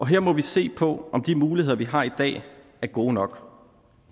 her må vi se på om de muligheder vi har i dag er gode nok